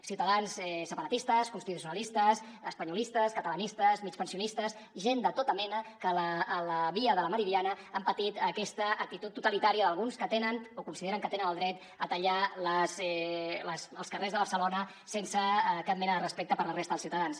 ciutadans separatistes constitucionalistes espanyolistes catalanistes migpensionistes gent de tota mena que a la via de la meridiana han patit aquesta actitud totalitària d’alguns que tenen o consideren que tenen el dret a tallar els carrers de barcelona sense cap mena de respecte per la resta dels ciutadans